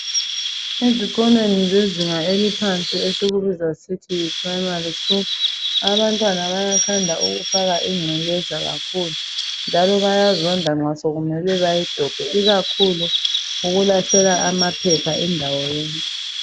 Ezikolweni zezinga elilphansi esikubiza sisithi yi Primary School, abantwana bayathanda ukufaka ingcekeza kakhulu njalo bayazonda nxa sekumele bayidobhe . Ikakhulu ukulahlela amaphepha indawo yonke.